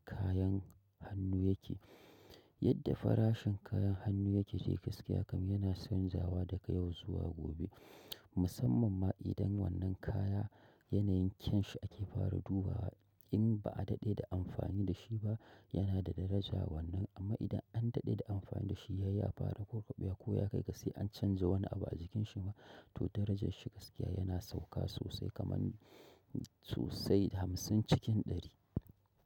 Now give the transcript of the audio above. Kayan hannu yake. Yadda farashin kayan hannu yake de gaskiya kam yana sanjawa daga yau zuwa gobe. Musamman ma idan wannan kaya yanayin kyan shi ake fara dubawa. In ba a daɗe da amfani da shi ba yana da daraja wannan amma idan an daɗe da amfani da shi yayi ya fara kurɓewa ko ya kai ka sai an canza wani abu a jikin shi ma to darajar shi gaskiya yana sauka sosai kaman sosai hamsin cikin ɗari.